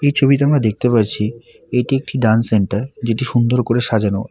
এই ছবিতে আমরা দেখতে পারছি এটি একটি ড্যান্স সেন্টার যেটি সুন্দর করে সাজানো।